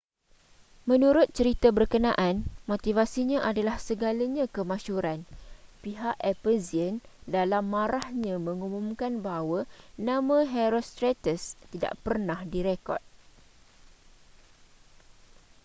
menurut cerita berkenaan motivasinya adalah segalanya kemasyhuran pihak ephesian dalam marahnya mengumumkan bahwa nama herostratus tidak pernah direkod